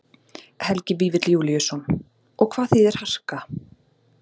Helgi Vífill Júlíusson: Og hvað þýðir harka?